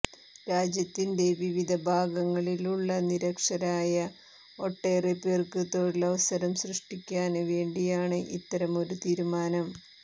രാജ്യത്തിന്റെ വിവിധ ഭാഗങ്ങളിലുള്ള നിരക്ഷരരായ ഒട്ടേറെ പേര്ക്കു തൊഴിലവസരം സൃഷ്ടിക്കാന് വേണ്ടിയാണ് ഇത്തരമൊരു തീരുമാനം